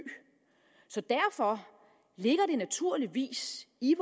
så derfor ligger det naturligvis i